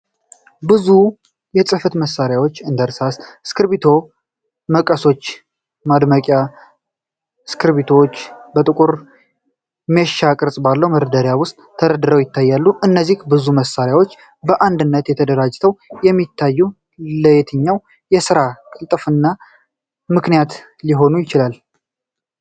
ብዙ የጽሕፈት መሣሪያዎች፣ እንደ እርሳስ፣ እስክሪብቶ፣ መቀሶች እና የማድመቂያ እስክሪብቶዎች በጥቁር ሜሽ ቅርፅ ባለው መደርደሪያ ውስጥ ተደራርበው ይታያሉ፤ እነዚህ ብዙ መሣሪያዎች በአንድነት ተደራጅተው የሚታዩት ለየትኛው የስራ ቅልጥፍና ምክንያት ሊሆን ይችላል?